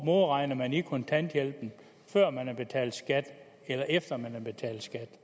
modregner man i kontanthjælpen før man har betalt skat eller efter man har betalt skat